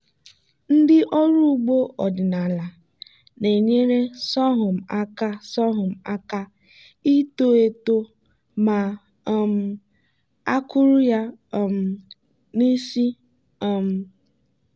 ndị ọrụ ugbo ọdịnala na-enyere sorghum aka sorghum aka ito eto ma um a kụrụ ya um n'isi. um